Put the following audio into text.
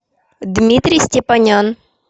дмитрий степанян